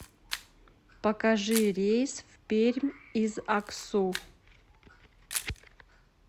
покажи рейс в пермь из аксу